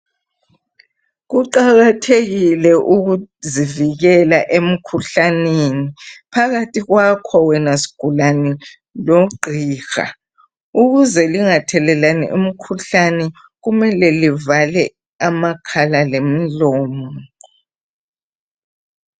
Kuqakathekile ukuzivikela emkhuhlaneni phakathi kwakho wena sigulane lo gqiha, ukuze lingathelelani imkhuhlane kumele livale amakhala lomlomo.